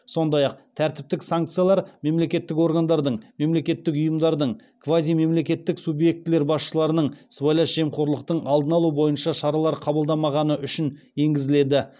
сондай ақ тәртіптік санкциялар мемлекеттік органдардың мемлекеттік ұйымдардың квазимемлекеттік субъектілер басшыларының сыбайлас жемқорлықтың алдын алу бойынша шаралар қабылдамағаны үшін енгізіледі